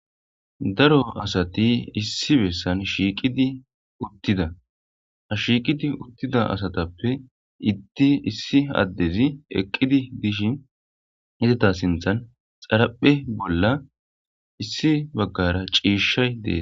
Daro atsai issi besan shiqidi uttida ha shiqidi utida asatppe hide issi addezi eqidi dishin izata si.than xaraphe bolla issi bagara cishay dees.